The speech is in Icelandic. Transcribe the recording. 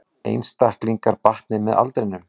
Einstaklingar batni með aldrinum